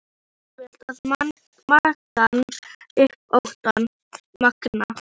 Það er auðvelt að magna upp óttann.